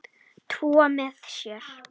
Trúa með sér.